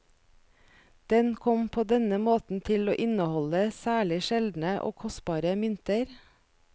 Den kom på denne måten til å inneholde særlig sjeldne og kostbare mynter.